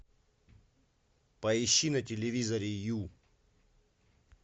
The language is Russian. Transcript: поищи на телевизоре ю